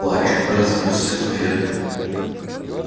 плач разнёсся по ферме